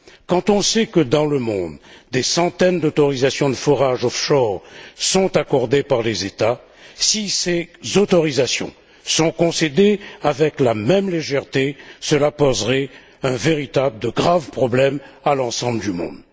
Quand on sait que, dans le monde, des centaines d'autorisation de forage off shore sont accordées par les États, si ces autorisations sont concédées avec la même légèreté, cela poserait de graves problèmes à l'ensemble du monde.